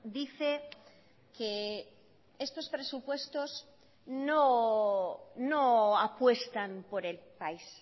dice que estos presupuestos no apuestan por el país